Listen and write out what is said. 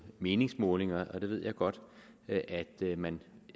meningsmålinger og det ved jeg godt at man